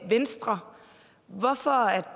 have